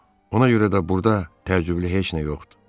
Ona görə də burda təcüblü heç nə yoxdur.